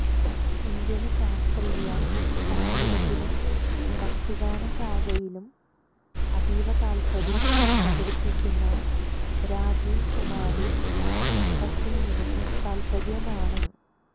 Indian ശാസ്ത്രീയ സംഗീതത്തിലും ഭക്തിഗാന ശാഖയിലും അതീവ താല്പര്യം പ്രകടിപ്പിക്കുന്ന രാജീവ് കുമാര് ട്രെക്കിങിലും തല്പരനാണ്